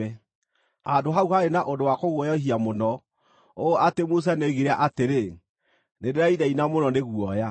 Handũ hau haarĩ na ũndũ wa kũguoyohia mũno, ũũ atĩ Musa nĩoigire atĩrĩ, “Nĩndĩrainaina mũno nĩ guoya.”